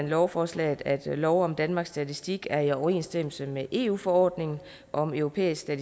lovforslaget at loven om danmarks statistik er i overensstemmelse med eu forordningen om europæiske